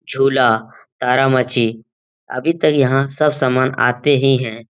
झूला तरामछी अभी तक यहाँ सब समान आते ही है।